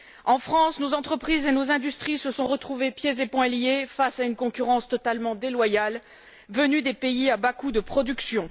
En France, nos entreprises et nos industries se sont retrouvées pieds et poings liés face à une concurrence totalement déloyale venue des pays à bas coûts de production.